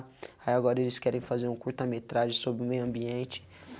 Aí agora eles querem fazer um curta metragem sobre o meio ambiente.